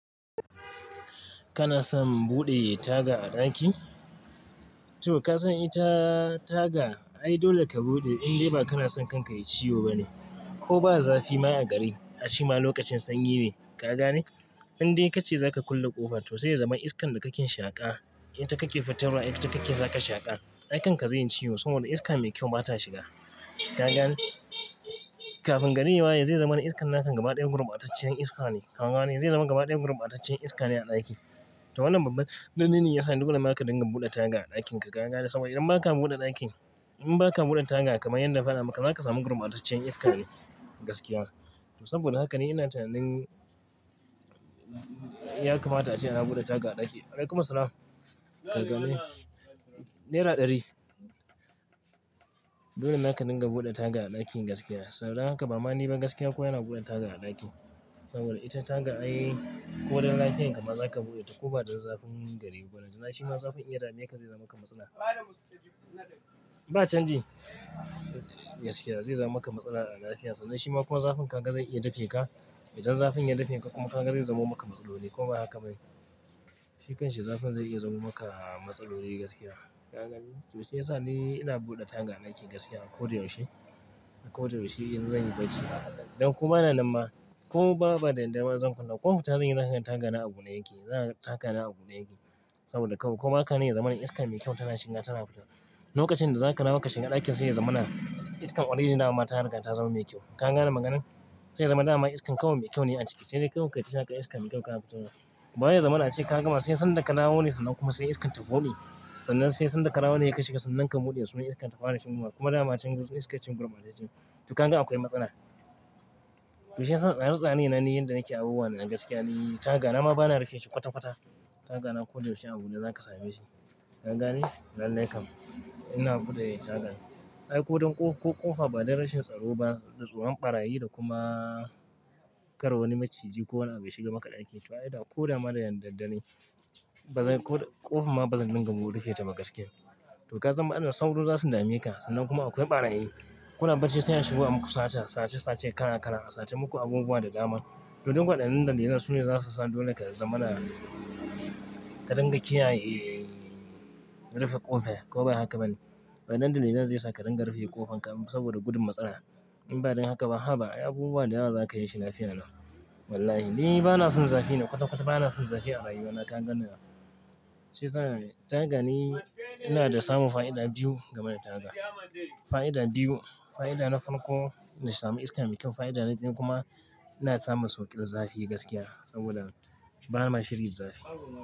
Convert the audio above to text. Kana son buɗe taga a ɗaki? To ka san ita taga? Ai dole ka buɗe in dai ba kana son kanka yayi ciwo ba ne, ko ba zafi ma a gari. A shima lokacin sanyi ne, ka gane? In dai kace zaka kulle ƙofa, to sai ya zama iskan da kake shaƙa, ita kake fitarwa ita kake zaka shaƙa. Ai kanka zai yi ciwo saboda iska mai kyau bata shiga, ka gane? Kafin garim ya waye zai zamar iskan naka gaba ɗaya gurbataccen iska ne, ka ganen? Zai zama gaba ɗaya gurbataccen iska ne a ɗaki. To wannan babba dalili ne yasa dole ma kadinga buɗe taga a ɗakin ka, ka gane? Saboda idan baka buɗe ɗakin, in baka buɗe taga kamar yadda na faɗa maka zaka samu gurbataccen iska ne gaskiya. Saboda haka ne ina tunanin ya kamata ace ana buɗe taga a ɗaki. Wa'alaikumissalm, ka gane? Naira ɗari. Dole naka dinga buɗe taga a ɗaki gaskiya. Saboda haka ba ma ni ba gaskiya kowa yana buɗe taga a ɗaki. Saboda ita taga ai ko dun lafiyar ka ma zaka buɗe ta ko ba da zafin gari ba. Balantana shi ma zafin iya dame ka zai zama maka matsala. Ba canji. Gaskiya zai zama maka matsala a lafiya. Sannan shi ma kuma zafin kan ka zai iya dafe ka. Idan zafin ya dafe ka kuma ka ga zai zamo maka matsaloli, ko ba haka ba ne? Shi kanshi zafin zai iya zamo maka matsaloli gaskiya, ka gani? To shi yasa ni ina buɗe taga a ɗaki gaskiya a ko da yaushe, a ko da yaushe in zan yi barci. Don ko bana nan ma ko babu daddare ba, in zan kulle, ko fita zan yi zaka ga taga na a bude yake. Taga na a bude yake saboda kawai ko baka nan ya zama na iska mai kyau tana shiga tana fitowa. Lokacin da zaka rawa ka shiga ɗakin sai ya zama na iskar oredi ma ta riga ta zama mai kyau. Ka gane maganar? Sai ya zama dama iskan kawai mai kyau ne a ciki. Sai dai kawai ka ji saka iska mai kyau kana fitowa. Kuma ba wai ya zama na ace ka gama sai sanda ka rawo ne sannan kuma sai iskan ta gode. Sannan sai sanda ka dawo ne in ka shiga sannan ka buɗe sannan iskan ta fara shigowa, kuma dama can iska cikin gurbatace. To kanga akwai matsala? To shi yasa tsare-tsare na ni yanda nake abubuwannan gaskiya ni taga na ma bana rufin shi kwata-kwata. Taga na a ko da yaushe a bu ne zaka same shi, ka gane? Lallai kam. Ina buɗe taga. In ko, ko kofa ba don rashin tsaro ba da tsoron barayi da kuma kara wani macini ko wani abu ya shigan maka daki, to ai da ko da da daddare bazan ko kofar ma bazan rika rufe ta bama gaskiya to ka san matsalan sauro za su dame ka sannan kuma akwai ɓarayi. Kuna barci sai a shigo a muku sata, sace, sace, kalaa, kala a sace muku abubuwa da dama. To duk waɗannan dalilai su ne zasu sa dole ka zama na ka dinga kiyaye rufe ƙofa ko ba haka ba ne? Waɗannan dalilai ze sa ka rinka rufe ƙofar ka saboda gudun matsala. In ba don haka ba, haba ai abubuwa da yawa zaka yi shi lafiya lau. Wallahi. Ni bana son zafi ne kwata-kwata bana son zafi a rayuwa na ka ganina nan. Shi yasa, taga ni ina da samun fa'ida biyu game da taga. Fa'ida biyu. Fa'ida na farko na samu iskar mai kyau. Fa'ida na biyu kuma ina samun sauƙin zafi gaskiya saboda bana shirin da zafi.